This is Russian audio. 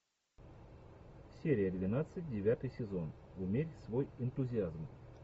серия двенадцать девятый сезон умерь свой энтузиазм